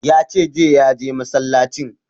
Ya ce jiya ya je masallacin